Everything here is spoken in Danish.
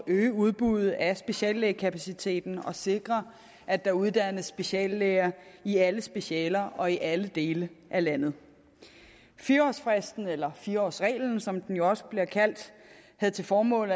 øge udbuddet af speciallægekapaciteten og sikre at der uddannes speciallæger i alle specialer og i alle dele af landet fire årsfristen eller fire årsreglen som den jo også bliver kaldt havde til formål